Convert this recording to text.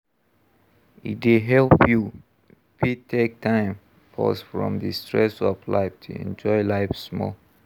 E dey help you fit take time pause from di stress of life to enjoy life small